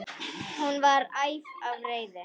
Hún var æf af reiði.